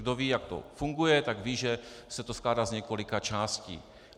Kdo ví, jak to funguje, tak ví, že se to skládá z několika částí.